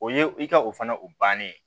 O ye i ka o fana o bannen ye